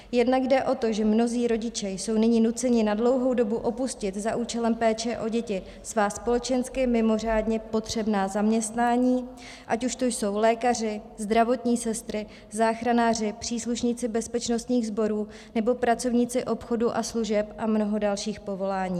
Jednak jde o to, že mnozí rodiče jsou nyní nuceni na dlouhou dobu opustit za účelem péče o děti svá společensky mimořádně potřebná zaměstnání, ať už to jsou lékaři, zdravotní sestry, záchranáři, příslušníci bezpečnostních sborů nebo pracovníci obchodu a služeb a mnoho dalších povolání.